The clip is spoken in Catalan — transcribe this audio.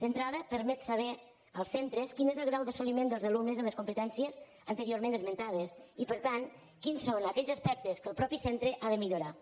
d’entrada permet saber als centres quin és el grau d’assoliment dels alumnes en les competències anteriorment esmentades i per tant quins són aquells aspectes que el mateix centre ha de millorar